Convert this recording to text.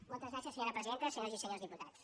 moltes gràcies senyora presidenta senyores y senyors diputats